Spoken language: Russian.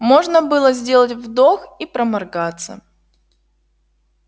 можно было сделать вдох и проморгаться